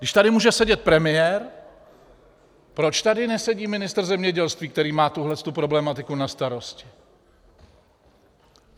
Když tady může sedět premiér, proč tady nesedí ministr zemědělství, který má tuhletu problematiku na starost?